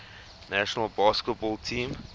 national basketball team